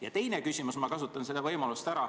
Ja teine küsimus, ma kasutan võimalust.